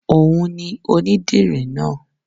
Òun ni ònídìrì náà